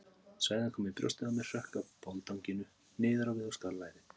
Sveðjan kom í brjóstið á mér, hrökk af boldanginu niður á við og skar lærið.